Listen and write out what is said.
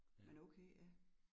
Men okay ja